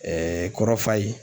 kɔrɔfa ye